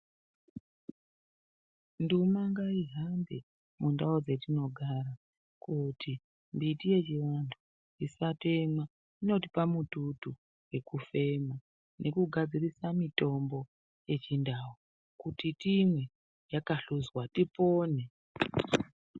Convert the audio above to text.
Nduma ngaihambe mundau dzatinogara kuti mbiti yechivantu isatemwa inotioa mututu wekufema nekugadzirisa mitombo yechindau kuti timwe yakahlozwa tipone.